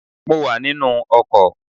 I'm in a bus